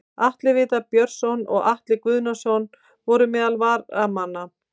Atli Viðar Björnsson og Atli Guðnason voru meðal varamanna.